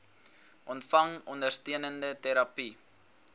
ontvang ondersteunende terapie